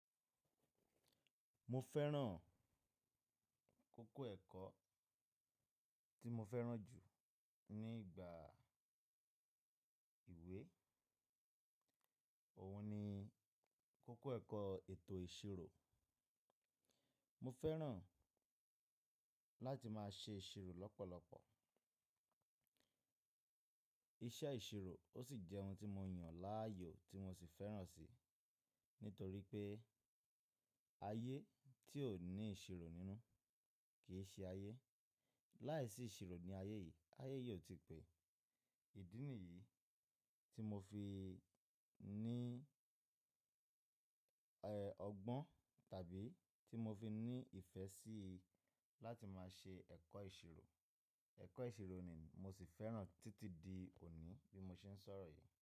Mo fẹ́ràn kókó ẹ̀kọ́ tí mo fẹ́ràn jù nígbà ìwé, òun ni kókó ẹ̀kọ́ ètò ìṣirò. Mo fẹ́ràn láti máa ṣe ìṣirò lọ́pọ̀lọpọ̀. Iṣẹ́ ìṣirò ó sì jẹ́ ohun tí mo yàn láàyò tí mo sì fẹ́ràn si, nítorí pé ayé tí ò ní ìṣirò nínú kì í ṣe ayé. Láìsí ìṣirò ní ayé yìí, ayé yìí ò tí pẹ́. Ìdí nìyí tí mo fi ní, eh, ọgbọ́n tàbí tí mo fi ní ìfẹ́ sí láti máa ṣe ẹ̀kọ́ ìṣirò. Ẹ̀kọ́ ìṣirò ni mo sì fẹ́ràn títí di òní bí mo ṣe ń sọ̀rọ̀ yìí.